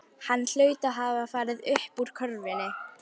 Hann hlaut að hafa farið uppúr körfunni.